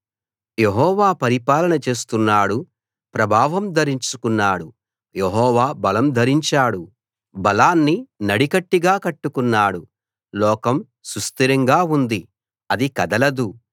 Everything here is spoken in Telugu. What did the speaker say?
యెహోవా పరిపాలన చేస్తున్నాడు ప్రభావం ధరించుకున్నాడు యెహోవా బలం ధరించాడు బలాన్ని నడికట్టుగా కట్టుకున్నాడు లోకం సుస్థిరంగా ఉంది అది కదలదు